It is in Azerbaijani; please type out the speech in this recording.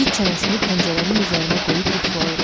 İt çənəsini pəncərənin üzərinə qoyub yuxulayırdı.